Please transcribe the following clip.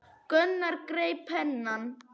Gunnar greip penna.